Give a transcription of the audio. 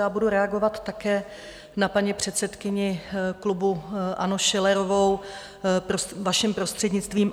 Já budu reagovat také na paní předsedkyni klubu ANO Schillerovou, vašim prostřednictvím.